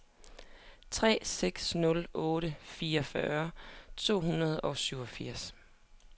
tre seks nul otte fireogfyrre to hundrede og syvogfirs